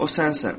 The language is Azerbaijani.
O sənsən.